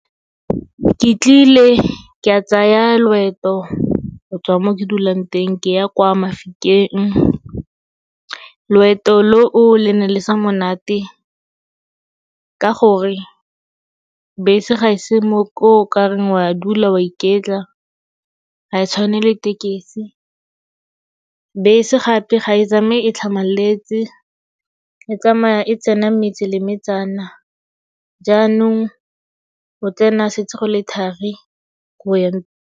Ke tlile ke a tsaya loeto gotswa mo ke dulang teng ke ya kwa Mafikeng. Loeto lo o le ne le se monate ka gore bese ga e se mo okareng wa dula wa iketla, ga e tshwane le tekesi. Bese gape ga e tsamaye e tlhamaletse, e tsamaya e tsena metse le metsana, jaanong o tsena setse go le thari ko o yang.